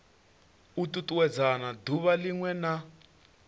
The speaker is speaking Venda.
u tutuwedzana duvha linwe na